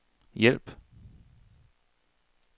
hjælp